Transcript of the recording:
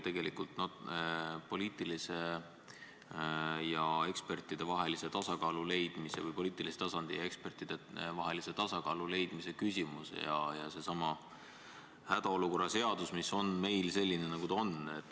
See on tegelikult poliitilise tasandi ja ekspertide vahelise tasakaalu leidmise küsimus ning puudutab sedasama hädaolukorra seadust, mis on meil selline, nagu ta on.